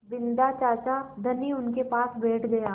बिन्दा चाचा धनी उनके पास बैठ गया